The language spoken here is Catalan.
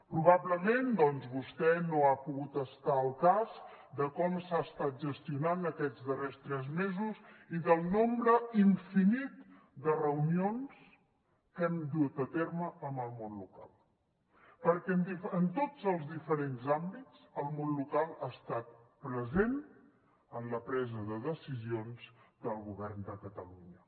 probablement doncs vostè no ha pogut estar al cas de com s’ha estat gestionant aquests darrers tres mesos i del nombre infinit de reunions que hem dut a terme amb el món local perquè en tots els diferents àmbits el món local ha estat present en la presa de decisions del govern de catalunya